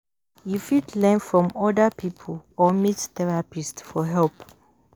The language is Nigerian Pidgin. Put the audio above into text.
You fit learn from oda pipo or meet therapist for help